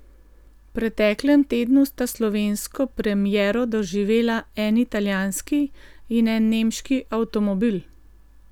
V preteklem tednu sta slovensko premiero doživela en italijanski in en nemški avtomobil.